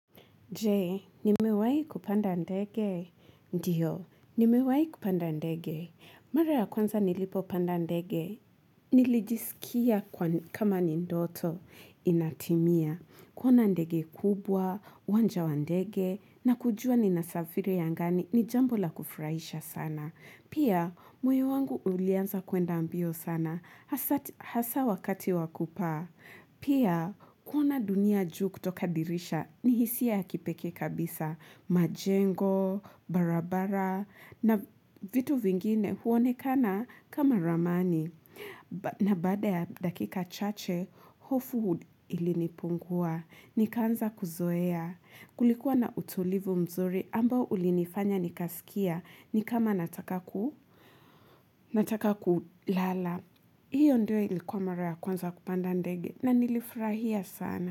Je, nimewahi kupanda ndege? Ndiyo, nimewayi kupanda ndege. Mara ya kwanza nilipopanda ndege? Nilijisikia kama ni ndoto. Inatimia. Kuona ndege kubwa, uwanja wa ndege, na kujua ni nasafiri angani, ni jambo la kufurahisha sana. Pia, moyo wangu ulianza kwenda mbio sana. Hasa wakati wakupaa Pia, kuona dunia juu kutoka dirisha. Nihisia ya kipekee kabisa, majengo, barabara, na vitu vingine huonekana kama ramani. Na baada ya dakika chache, hofu ilinipungua. Nikaanza kuzoea. Kulikuwa na utulivu mzuri ambao ulinifanya nikasikia ni kama nataka kulala. Hiyo ndio ilikuwa mara ya kwanza kupanda ndege na nilifurahia sana.